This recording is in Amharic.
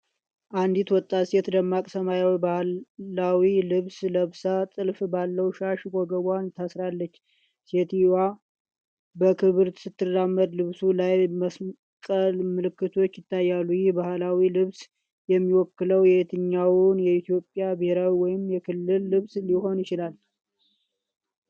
አንዲት ወጣት ሴት ደማቅ ሰማያዊ ባህላዊ ልብስ ለብሳ፣ ጥልፍ ባለው ሻሽ ወገቧን ታስራለች። ሴትየዋ በክብር ስትራመድ፣ ልብሱ ላይ መስቀል ምልክቶች ይታያሉ። ይህ ባህላዊ ልብስ የሚወክለው የትኛውን የኢትዮጵያ ብሔር ወይስ የክልል ልብስ ሊሆን ይችላል?